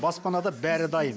баспанада бәрі дайын